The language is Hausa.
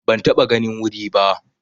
Ban taɓa ganin wuri ba.